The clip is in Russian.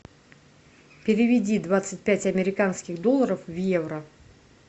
переведи двадцать пять американских долларов в евро